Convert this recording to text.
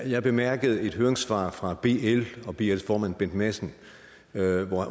jeg bemærkede et høringssvar fra bl og bls formand bent madsen